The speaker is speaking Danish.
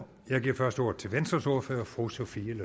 jeg giver først ordet til venstres ordfører fru sophie